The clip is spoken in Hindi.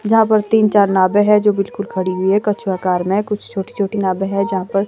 जहां पर तीन-चार नावे है जो बिल्कुल खड़ी हुई है कछुआकार में कुछ छोटी-छोटी नावे है जहां पर--